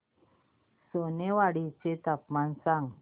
सोनेवाडी चे तापमान सांग